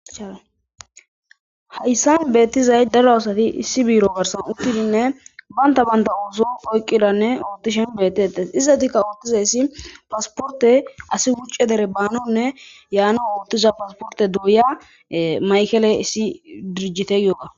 Hayssan beettizay daro asati issi biiro barsan uttidinne banta banta ooso oyqidanne ootishen beettetes izatikka oottizay ssi pasporte asi wucce dere baanonne yaano ootiza pasporte douya maykele issi dirjiteyooga